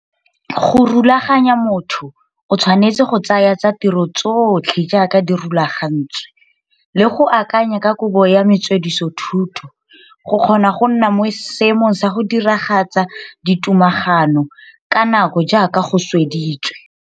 Go rulaganya motho o tshwanetse go tsaya tsa ditro tsotlhe jaaka di rulagantswe le go akanya ka kabo ya metswedithuso go kgona go nna mo seemong sa go diragatsa ditogamaano ka nako jaaka go sweditswe.